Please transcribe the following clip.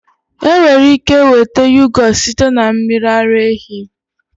Enwere ike nweta yohgurt site na mmiri ara ehi